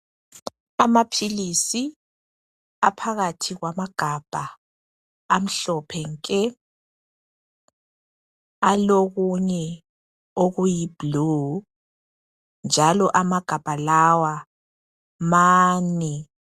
Amaphilisi aphakathi kwamagabha amhlophe nke. Alokunye okuyibhulu, njalo amagabha lawa mane.